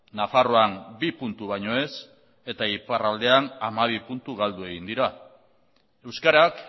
nafarroan bi puntu baino ez eta iparraldean hamabi puntu galdu egin dira euskarak